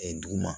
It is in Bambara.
dugu ma